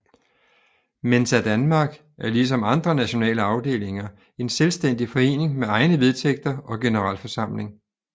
Mensa Danmark er lige som andre nationale afdelinger en selvstændig forening med egne vedtægter og generalforsamling